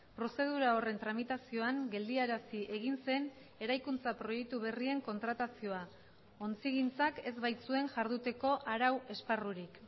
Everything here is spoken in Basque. prozedura horren tramitazioan geldiarazi egin zen eraikuntza proiektu berrien kontratazioa ontzigintzak ez baitzuen jarduteko arau esparrurik